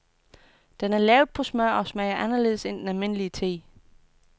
Den er lavet på smør og smager anderledes end den normal te.